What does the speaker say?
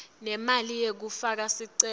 nemali yekufaka sicelo